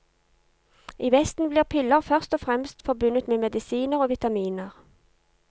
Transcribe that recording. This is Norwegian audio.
I vesten blir piller først og fremst forbundet med medisiner og vitaminer.